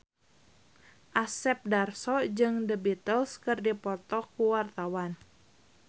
Asep Darso jeung The Beatles keur dipoto ku wartawan